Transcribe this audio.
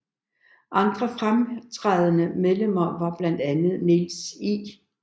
Andre fremtrædende medlemmer var blandt andre Niels I